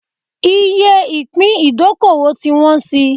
Iye ìpín ìdókòwò ti wọ́n síi